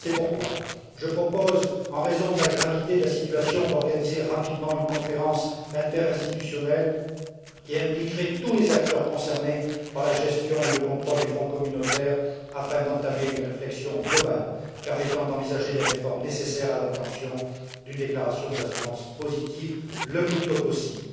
C'est pourquoi je propose, en raison de la gravité de la situation, d'organiser rapidement une conférence interinstitutionnelle qui impliquerait tous les acteurs concernés par la gestion et le contrôle des fonds communautaires, afin d'entamer une réflexion globale permettant d'envisager les réformes nécessaires à l'obtention d'une déclaration d'assurance positive le plus tôt possible.